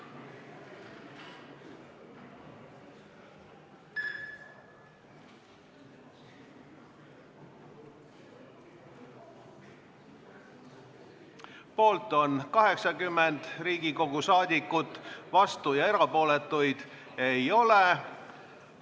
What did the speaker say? Hääletustulemused Poolt on 80 Riigikogu liiget, vastuolijaid ja erapooletuid ei ole.